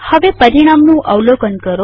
હવે પરિણામનું અવલોકન કરો